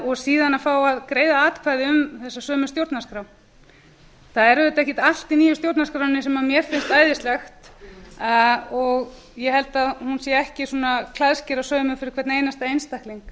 og síðan að fá að greiða atkvæði um þessa sömu stjórnarskrá það er auðvitað ekkert allt í nýju stjórnarskránni sem mér finnst æðislegt og ég held að hún sé ekki klæðskerasaumuð fyrir hvern einasta einstakling